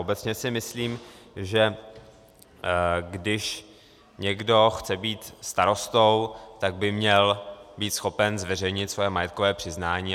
Obecně si myslím, že když někdo chce být starostou, tak by měl být schopen zveřejnit své majetkové přiznání.